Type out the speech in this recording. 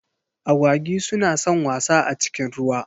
Agwagi su na san wasa a cikin ruwa.